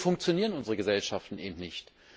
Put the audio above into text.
So funktionieren unsere Gesellschaften eben nicht.